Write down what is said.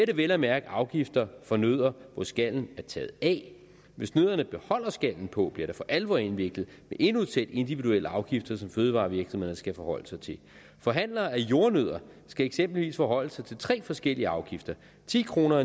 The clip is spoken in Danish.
det vel at mærke afgifter for nødder hvor skallen er taget af hvis nødderne beholder skallen på bliver det for alvor indviklet med endnu et sæt individuelle afgifter som fødevarevirksomhederne skal forholde sig til forhandlere af jordnødder skal eksempelvis forholde sig til tre forskellige afgifter ti kroner